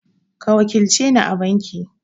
Ka wakilce ni a banki!